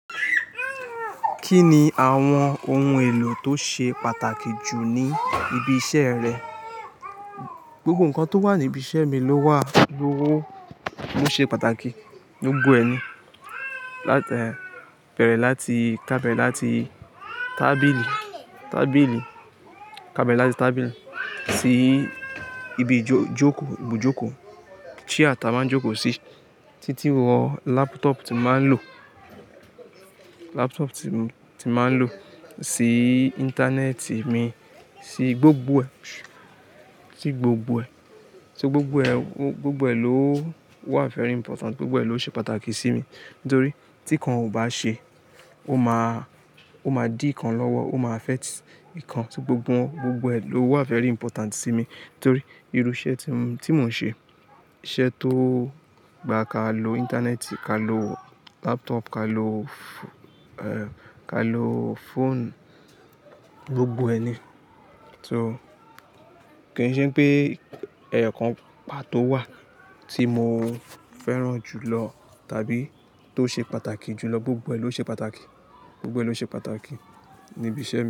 Kí ni àwọn ohun èlò tó ṣe pàtàkì jù ní ibi iṣẹ́ rẹ? Gbogbo nǹkan tó wà ní ibi iṣẹ́ mi ló wà, ló wò, mú ṣe pàtàkì. Gbogbo ẹ ní, láti, ká bẹ̀rẹ̀ láti tábìlì, tábìlì, ká bẹ̀rẹ̀ láti tábìlì, síì ibùjókòó, chair tá má ń jòkọ́ sí títí wọ laptop tí máa ń lò, laptop tí mo, tí máa ń lò, sí internet mi, sí gbogbo ẹ̀, sí gbogbo ẹ̀, sí gbogbo ẹ̀, gbogbo ẹ ló wà very important, gbogbo ẹ ló ṣe pàtàkì sí mi. Nítorí tí kan ò bá ṣé, ó máa, ó máa dí kan lọ́wọ́, ó máa affect kan. Tí gbogbo, gbogbo ẹ ló wà very important sí mi. Nítorí irú iṣẹ́ tí mo, tí mò ń ṣe, iṣẹ́ tó gba ka lo internet, ka lo laptop, ka lo, ka lo phone, gbogbo ẹni. So kò i ṣe pé ẹyọ kan pàtó wà tí mo fẹ́ràn jù lọ tàbí tó ṣe pàtàkì jù lọ. Gbogbo ẹ ló ṣe pàtàkì, gbogbo ẹ ló ṣe pàtàkì ní ibi iṣẹ́ mi.